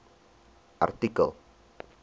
artikel